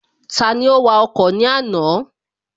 Tani ó wa ọkọ̀ ní àná?